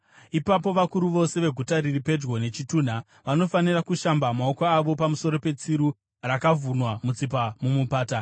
Ipapo vakuru vose veguta riri pedyo nechitunha vanofanira kushamba maoko avo pamusoro petsiru rakavhunwa mutsipa mumupata.